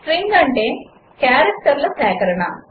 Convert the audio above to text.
string అంటే క్యారెక్టర్ల సేకరణ